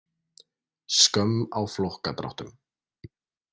Skömm á flokkadráttum.